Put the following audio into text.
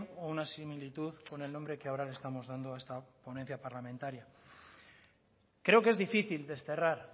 o una similitud con el nombre que ahora le estamos dando a esta ponencia parlamentaria creo que es difícil desterrar